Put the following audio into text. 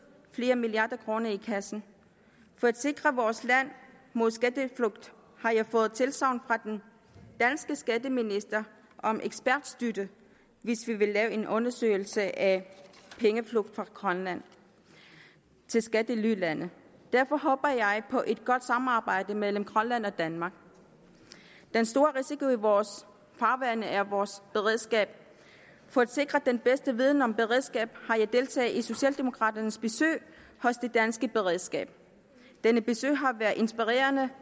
flere milliarder kroner i kassen for at sikre vores land mod skatteflugt har jeg fået tilsagn fra den danske skatteminister om ekspertstøtte hvis vi vil lave en undersøgelse af pengeflugt fra grønland til skattelylande derfor håber jeg på et godt samarbejde mellem grønland og danmark den store risiko i vores farvande er vores beredskab for at sikre den bedste viden om beredskab har jeg deltaget i socialdemokraternes besøg hos det danske beredskab dette besøg har været inspirerende